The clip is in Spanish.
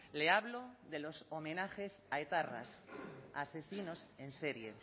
le hablo de los homenajes a etarras asesinos en serie